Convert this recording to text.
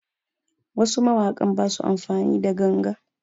Wasu mawakan basu amfani da ganga